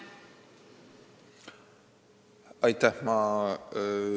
Aitäh!